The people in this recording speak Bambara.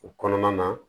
O kɔnɔna na